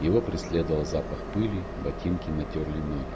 его преследовал запах пыли ботинки натёрли ноги